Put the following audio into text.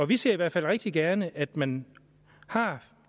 vi ser i hvert fald rigtig gerne at man har